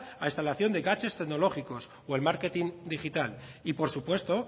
a instalación de gadgets tecnológicos o el marketing digital y por supuesto